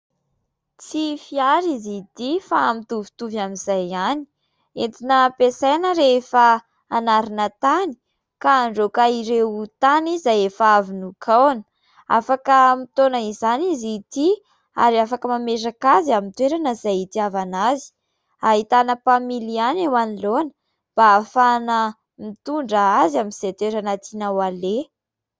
Tsy fiara izy ity fa mitovitovy amin'izay ihany, entina ampiasaina rehefa hanarina tany ka andraoka ireo tany izay efa avy nokahona, afaka mitaona izany izy ity ary afaka mametraka azy amin'ny toerana izay itiavana azy; ahitana mpamily ihany eo anoloana mba hahafahana mitondra azy amin'izay toerana tiana ho aleha.